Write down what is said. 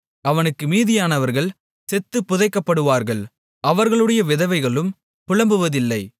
அவனுக்கு மீதியானவர்கள் செத்துப் புதைக்கப்படுவார்கள் அவர்களுடைய விதவைகளும் புலம்புவதில்லை